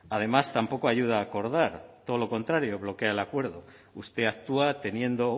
además tampoco ayuda a acordar todo lo contrario bloquea el acuerdo usted actúa teniendo